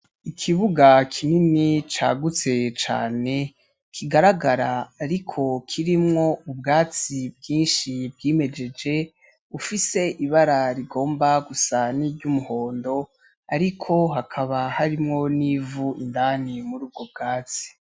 Ikibuga kinini cagutse cane kigaragara ariko kirimwo ubwatsi bwinshi bwimejeje bufise ibara rigomba gusa n'iryumuhondo ariko hakaba harimwo n'ivu indani murubwo bwatsi.